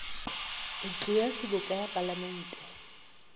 ntlo ya seboka ya palamente